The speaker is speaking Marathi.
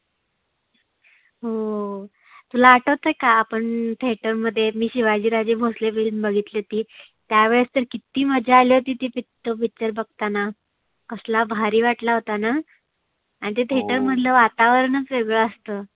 हो तुला आठवतय का आपण theater मध्ये मी शिवाजी राजे भोसले film बघितली होती. त्या वेळेस तर किती मजा आली होती ती तो picture बघताना. कसला भारी वाटला होताना? आणि ते theater मधल वातावरणच वेगळ असतं.